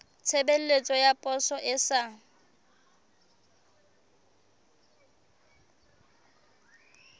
tshebeletso ya poso e sa